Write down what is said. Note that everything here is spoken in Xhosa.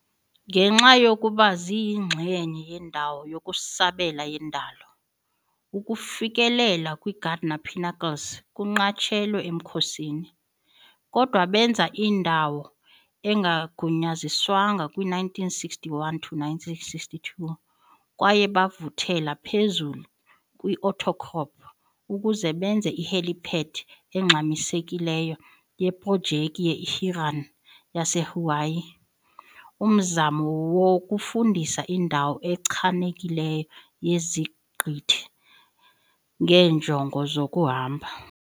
Ngenxa yokuba ziyingxenye yendawo yokusabela yendalo, ukufikelela kwi-Gardner Pinnacles kunqatshelwe emkhosini, kodwa benza indawo engagunyaziswanga kwi-1961-62 kwaye bavuthela phezulu kwi-outcrop ukuze benze i-helipad engxamisekileyo yeprojekthi ye-HIRAN yaseHawaii, umzamo wokufumanisa indawo echanekileyo yeziqithi ngeenjongo zokuhamba.